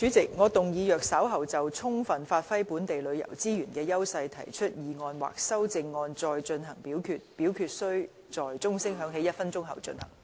主席，我動議若稍後就"充分發揮本地旅遊資源的優勢"所提出的議案或修正案再進行點名表決，表決須在鐘聲響起1分鐘後進行。